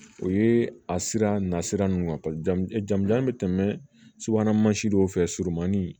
O ye a sira nasira ninnu ka jamujan bɛ tɛmɛ subahana mansi dɔw fɛ surumani